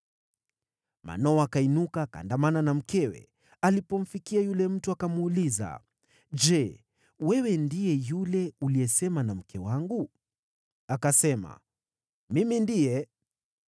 Manoa akainuka akaandamana na mkewe. Alipomfikia yule mtu akamuuliza, “Je, wewe ndiye yule uliyesema na mke wangu?” Akasema, “Mimi ndiye.”